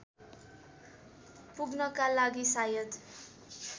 पुग्नका लागि सायद